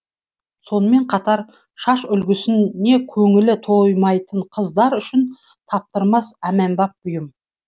сонымен қатар шаш үлгісіне көңілі тоймайтын қыздар үшін таптырмас бұйым